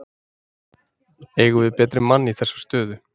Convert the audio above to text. Eigum við betri mann í þessa stöðu?